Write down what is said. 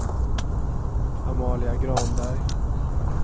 Amalia Granberg